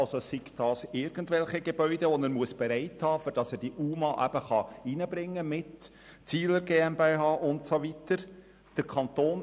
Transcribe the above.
Das betrifft zum Beispiel Gebäude, die er bereithalten muss, damit er die UMA zusammen mit der Zihler GmbH und so weiter platzieren kann.